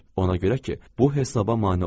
Ona görə ki, bu hesaba mane olur.